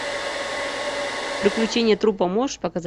приключения трупа можешь показать